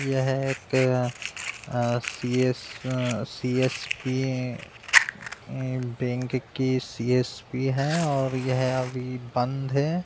यह एक अ अ सी.एस. अ सी.एस.पी. ई बैंक के सी.एस.पी. है और यह अभी बंद है।